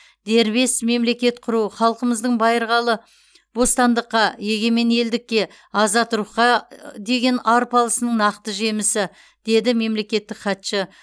дербес мемлекет құру халқымыздың байырқалы бостандыққа егемен елдікке азат рухқа деген арпалысының нақты жемісі деді мемлекеттік хатшы